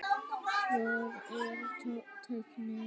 Hvar er tæknin?